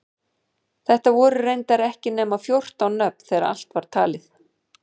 Þetta voru reyndar ekki nema fjórtán nöfn þegar allt var talið.